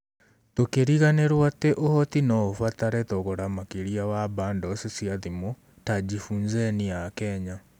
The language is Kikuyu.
Tũkĩriganĩrwo atĩ ũhoti no ũbatare thogora makĩria wa bandos cia thimũ ta jiFUNzeni ya Kenya